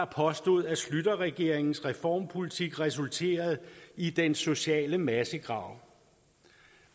påstod at schlüterregeringens reformpolitik resulterede i den sociale massegrav